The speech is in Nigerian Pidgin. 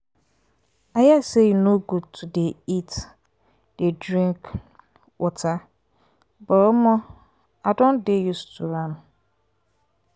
i hear say e no good to dey eat dey drink um water but um i don dey used to am.